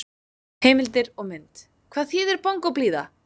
Heimildir og mynd: Hvað þíðir bongóblíða!